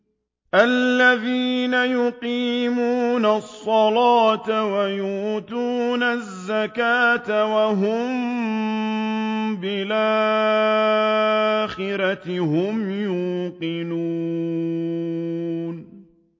الَّذِينَ يُقِيمُونَ الصَّلَاةَ وَيُؤْتُونَ الزَّكَاةَ وَهُم بِالْآخِرَةِ هُمْ يُوقِنُونَ